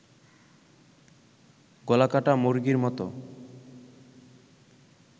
গলাকাটা মুরগির মতো